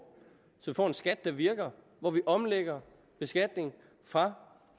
så vi får en skat der virker hvor vi omlægger beskatningen fra